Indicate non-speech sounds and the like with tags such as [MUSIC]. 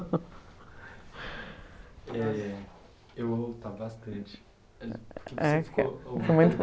[LAUGHS] É, eu vou voltar bastante, porque você ficou... Foi muito bom.